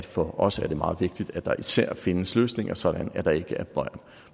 for os er meget vigtigt at der især findes løsninger så der ikke er